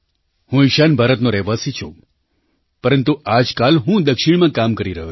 હું ઈશાન ભારતનો રહેવાસી છું પરંતુ આજકાલ હું દક્ષિણમાં કામ કરી રહ્યો છું